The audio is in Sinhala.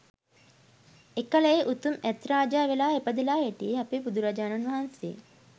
එකල ඒ උතුම් ඇත් රාජා වෙලා ඉපදිලා හිටියේ අපේ බුදුරජාණන් වහන්සේ